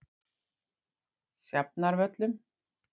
Sjafnarvöllum